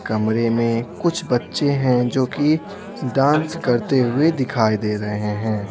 कमरे में कुछ बच्चे हैं जो कि डांस करते हुए दिखाई दे रहे हैं।